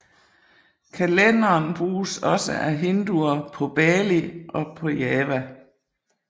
Kalenderen bruges også af Hinduer på Bali og Java